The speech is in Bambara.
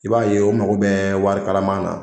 I b'a ye o mako bɛ wari kalaman na